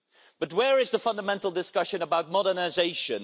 But where is the fundamental discussion about modernisation?